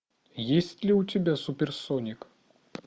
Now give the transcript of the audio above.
есть ли у тебя суперсоник